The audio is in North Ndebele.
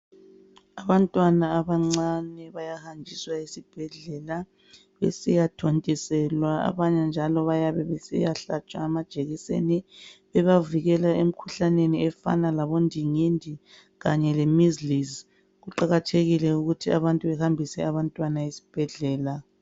Abantwana abancane bayahanjiswa esibhedlela besiyathontiselwa abanye njalo bayabesiyahlatshwa amajekiseni ebavikela emkhuhlaneni efana labo ndingindi kanye le measles. Kuqakathekile ukuthi abantu bahambise abantwana esibhedlela.